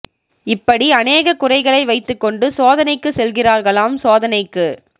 இப்படி அநேக குறைகளை வைத்து கொண்டு சோதனைக்கு செல்கிறார்களாம் சோதனைக்கு